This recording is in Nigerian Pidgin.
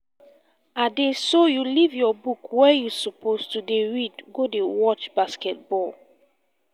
ade so you leave your book wey you suppose to dey read go dey watch basketball